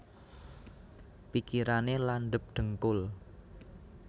Pikirane landhep dhengkul